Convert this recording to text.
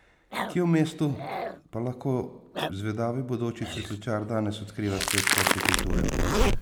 Kje v mestu pa lahko zvedavi bodoči cvetličar danes odkriva svet hortikulture?